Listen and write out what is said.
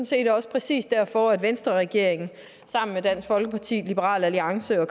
set også præcis derfor at venstreregeringen sammen med dansk folkeparti liberal alliance og